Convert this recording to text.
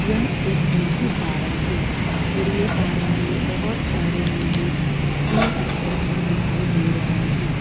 यह एक मुर्गी फार्म है मुर्गी फार्म में बहुत सारे मुर्गी तीन स्तर पर दिखाई दे रहे हैं।